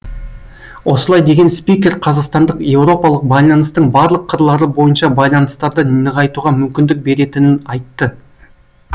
осылай деген спикер қазақстандық еуропалық байланыстың барлық қырлары бойынша байланыстарды нығайтуға мүмкіндік беретінін айтты